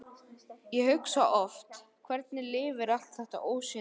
Ég hugsa oft: hvernig lifir allt þetta ósýnilega fólk.